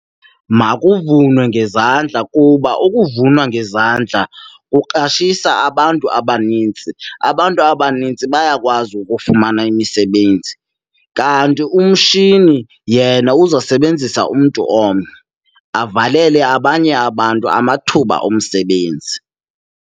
Makuvunwe ngezandla kuba ukuvunwa ngezandla kuqashisa abantu abanintsi, abantu abanintsi bayakwazi ukufumana imisebenzi. Kanti umshini yena uzosebenzisa umntu omnye, avalele abanye abantu amathuba omsebenzi.